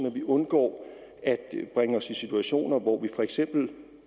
at vi undgår at bringe os i situationer hvor vi for eksempel